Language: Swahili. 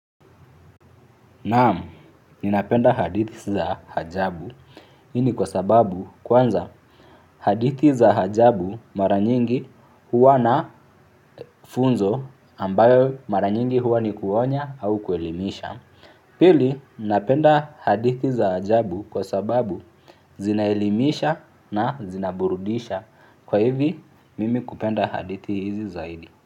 Naam, ninapenda hadithi za hajabu hii ni kwa sababu kwanza hadithi za hajabu mara nyingi huwa na funzo ambayo mara nyingi huwa ni kuonya au kuelimisha. Pili, ninapenda hadithi za hajabu kwa sababu zinaelimisha na zinaburudisha. Kwa hivi, mimi kupenda hadithi hizi zaidi.